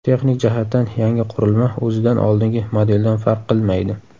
Texnik jihatdan yangi qurilma o‘zidan oldingi modeldan farq qilmaydi.